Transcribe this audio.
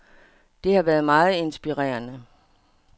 Det har været meget inspirerende.